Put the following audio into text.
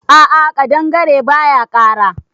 A'a kaɗangare baya kara.